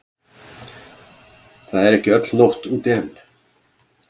Það er ekki öll nótt úti enn.